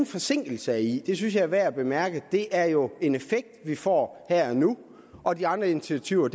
forsinkelse i det synes jeg er værd at bemærke det er jo en effekt vi får her og nu og de andre initiativer